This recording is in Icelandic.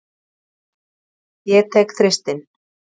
Ég tek Þristinn.